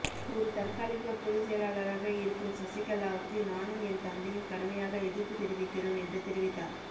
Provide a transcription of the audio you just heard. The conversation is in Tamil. ஒரு தற்காலிக பொது செயலாளராக இருக்கும் சசிகலாவுக்கு நானும் என் தந்தையும் கடுமையாக எதிர்ப்பு தெரிவிக்கிறோம் என்று தெரிவித்தார்